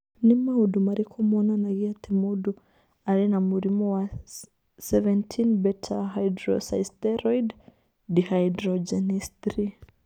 Nĩ maũndũ marĩkũ monanagia atĩ mũndũ arĩ na mũrimũ wa 17 beta hydroxysteroid dehydrogenase 3?